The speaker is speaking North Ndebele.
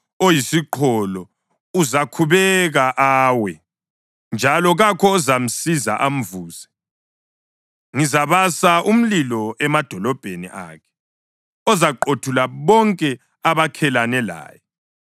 Oyisiqholo uzakhubeka awe, njalo kakho ozamsiza amvuse. Ngizabasa umlilo emadolobheni akhe ozaqothula bonke abakhelene laye.”